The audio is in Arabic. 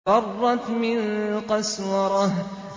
فَرَّتْ مِن قَسْوَرَةٍ